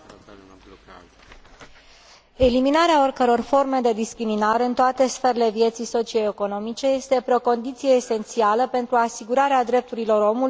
Eliminarea oricăror forme de discriminare în toate sferele vieții socio economice este o condiție preliminară esențială pentru asigurarea drepturilor omului și a bunăstării fiecărui cetățean.